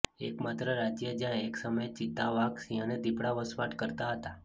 એકમાત્ર રાજ્ય જ્યાં એક સમયે ચિત્તા વાઘ સિંહ અને દીપડા વસાવાટ કરતા હતા